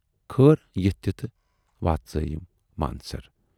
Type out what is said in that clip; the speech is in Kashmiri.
خٲر یِتھٕ تِتھٕ وٲژیاے مانسر۔